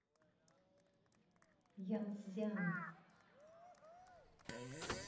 янцзян